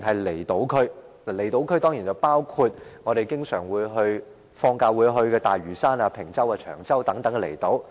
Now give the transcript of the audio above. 離島區當然包括我們放假經常會去的大嶼山、坪洲、長洲等離島。